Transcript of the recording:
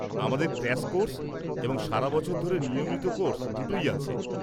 আমাদের crash course এবং সারা বছর ধরে নিয়মিত কোর্স দুটোই আছে।